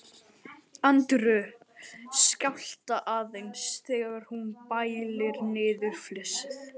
Andreu skjálfa aðeins þegar hún bælir niður flissið.